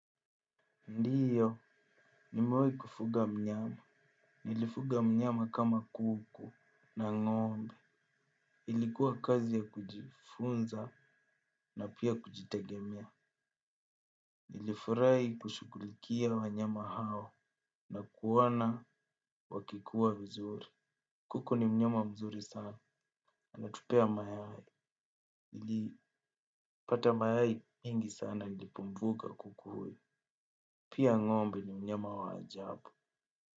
Ndio, nimewai kufuga mnyama. Nilifuga mnyama kama kuku na ng'ombe. Ilikuwa kazi ya kujifunza na pia kujitegemea. Nilifurai kushughulikia wanyama hao na kuwaona wakikua vizuri. Kuku ni mnyama mzuri sana. Hutupea mayai, nilipata mayai mengi sana ilipotoka kuku huyo, pia ngo'mbe, myama wa ajabu.